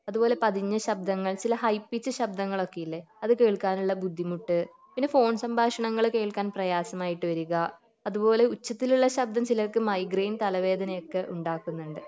അതുപോലെ പതിഞ്ഞ ശബ്ദങ്ങൾ ചില ഹൈ പിച്ച് ശബ്ദങ്ങളൊക്കെ ഇല്ലേ അത് കേൾക്കാൻ ഉള്ള ബുദ്ധിമുട്ട് പിന്നെ ഫോൺ സംഭാഷണങ്ങൾ കേൾക്കാൻ പ്രയാസമായിട്ട് വരിക അതുപോലെ ഉച്ചത്തിൽ ഉള്ള ശബ്ദം ചിലർക്ക് മൈഗ്രേൻ തലവേദന ഒക്കെ ഉണ്ടാക്കുന്നുണ്ട്